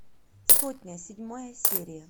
сотня седьмая серия